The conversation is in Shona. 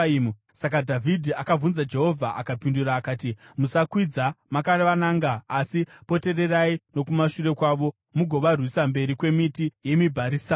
saka Dhavhidhi akabvunza Jehovha, akapindura akati, “Musakwidza makavananga, asi potererai nokumashure kwavo mugovarwisa mberi kwemiti yemibharisamu.